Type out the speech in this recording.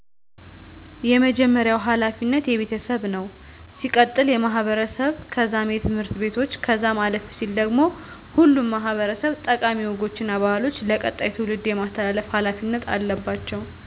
የመጀመርያዉ ሀላፊነት የቤተሰብ ነዉ ሲቀጥል የማህበረሰብ ከዛም የትምህርት ቤቶች ከዛም አለፍ ሲል ደግሞ ሁሉም ማህበረሰብ ጠቃሚ ወጎች እና ባህሎችን ለቀጣይ ትዉልድ የማስተላለፍ ሀላፊነት አለባቸዉ